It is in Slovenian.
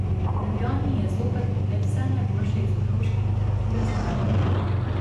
V Ljubljani je zopet na ogled vse najboljše iz otroške literature zadnjega leta.